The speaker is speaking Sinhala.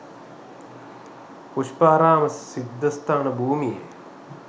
පුෂ්පාරාම සිද්ධස්ථාන භූමියේ